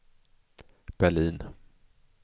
Berlin